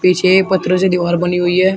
पीछे ये पत्थरों से दीवार बनी हुई है।